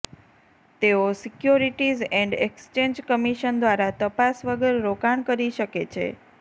તેઓ securities and exchange commission દ્વારા તપાસ વગર રોકાણ કરી શકે છે